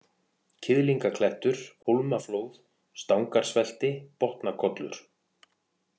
Kiðlingaklettur, Hólmaflóð, Stangarsvelti, Botnakollur